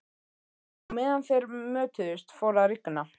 Á meðan þeir mötuðust fór að rigna.